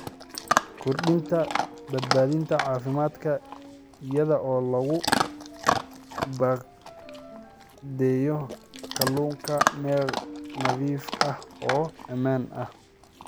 Kordhinta Badbaadada Caafimaadka Iyada oo lagu baakadeeyo kalluunka meel nadiif ah oo ammaan ah.